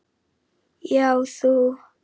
Já, þú!